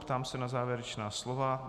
Ptám se na závěrečná slova.